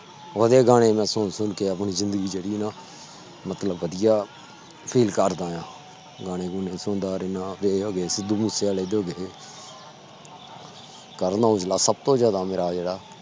ਓਹਦੇ ਗਾਣੇ ਸੁਨ-ਸੁਨ ਕੇ ਆਪਣੀ ਜ਼ਿੰਦਗੀ ਜਿਹੜੀ ਮਤਲਬ ਬਦਿਆ FEEL ਕਰਦਾ ਆ ਗਾਣੇ ਗੁਣੇ ਸੁਣਦਾ ਰਹਿਣਾ ਸਿੱਧੂ ਮੂਸੇ ਵਾਲੇ ਦੇ ਹੋਗੇ ਕਰਨ ਔਜਲਾ ਸਬ ਤੋਂ ਜ਼ਿਆਦਾ ਮੇਰਾ ਜਿਹੜਾ